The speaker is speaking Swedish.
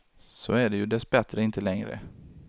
Så är det ju dess bättre inte längre.